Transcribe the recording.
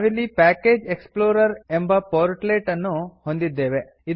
ನಾವಿಲ್ಲಿ package explorer ಎಂಬ portlets ಅನ್ನು ಹೊಂದಿದ್ದೇವೆ